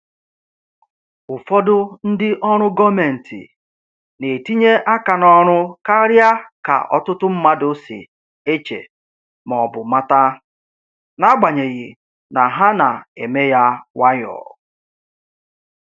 Ụfọdụ ndị ọrụ gọọmentị na-etinye aka n’ọrụ karịa ka ọtụtụ mmadụ si eche ma ọ bụ mata, n’agbanyeghị na ha na-eme ya nwayọ.